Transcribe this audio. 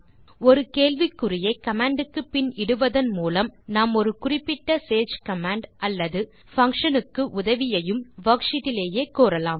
ஒரு கேள்விக்குறியை கமாண்ட் க்கு பின் இடுவதன் மூலம் நாம் ஒரு குறிப்பிட்ட சேஜ் கமாண்ட் அல்லது பங்ஷன் க்கு உதவியையும் வர்க்ஷீட் லேயே கோரலாம்